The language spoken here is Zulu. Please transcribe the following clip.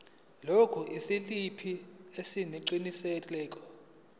lokhu isiliphi sesiqinisekiso